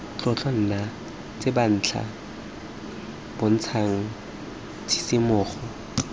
tlotlo nna tsebentlha bontshang tshisimogo